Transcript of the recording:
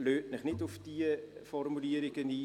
Lassen Sie sich nicht auf diese Formulierungen ein.